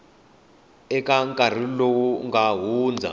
eka nkarhi lowu nga hundza